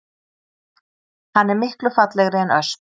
Hann er miklu fallegri en ösp